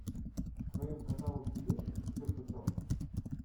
в твоем каталоге есть все путем